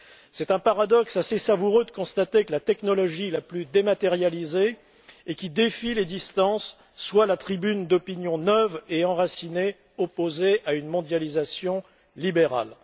C'est un paradoxe assez savoureux de constater que la technologie la plus dématérialisée, et qui défie les distances, soit la tribune d'opinions neuves et enracinées, opposées à une mondialisation libérale.